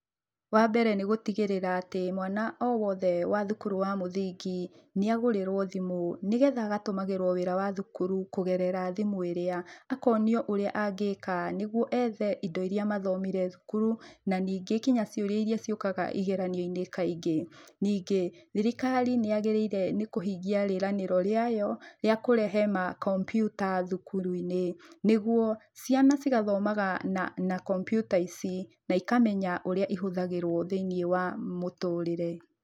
Wambere nĩgũtigĩrĩra atĩ mwana owothe wa thukuru wa mũthingi nĩagũrĩrwo thimũ, nĩgetha agatũmagĩrwo wĩra wa thukuru kũgerera thimũ ĩrĩa. akonio ũrĩa angĩka nĩguo ethe indo iria mathomire cukuru, na ningĩ nginya ciũria iria ciũkaga igeranio-inĩ kaingĩ. Ningĩ, thirikari nĩyagĩrĩire nĩkũhingia rĩranĩro rĩayo rĩakũrehe makompiuta thukuru-inĩ, nĩguo ciana cigathomaga na kompiuta ici naikamenya ũrĩa ihũthagĩrwo thĩinĩ wa mũtũrĩre.